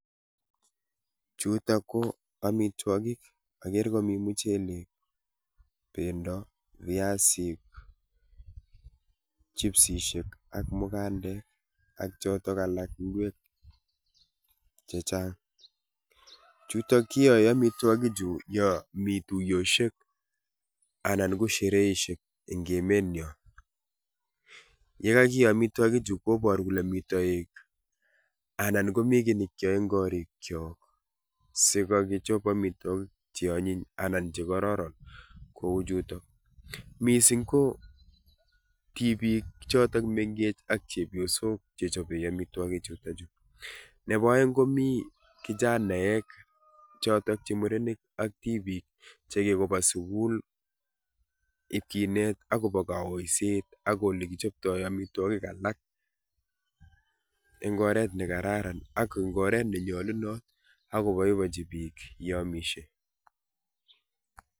Chutok ko amitwogik, agere komi muchelek, bendo, viasik, chipsishek ak mugandek ak chotok alak ingwek chechang. Chutok kioe amitwogik chu yo mi tuiyoshek anan ko shereishek eng' emet nyo. Ye kagio amitwogik chu koboru kole mi toek anan komi kiy nekyoe eng' korik chok sikagichop amitwogik cheonyiny anan chekororon kouchutok. Missing ko tibiik chotok mengech ak chepyosok chechobe amitwogik chutokchu. Nebo aeng' komi kichanaek chotok che murenik ak tibiik chekikoba sukul ipkinet akobo kaoisiet ak oli kichoptoi amitwogik alak eng' oret ne kararan ak eng' oret nenyalunot akobaibachi biik yeamishe.